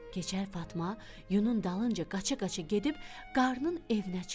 Keçəl Fatma yununun dalınca qaça-qaça gedib qarnın evinə çıxdı.